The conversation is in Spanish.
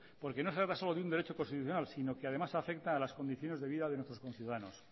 porque no se trata solo de un derecho constitucional sino que además afecta a las condiciones de vida de nuestros conciudadanos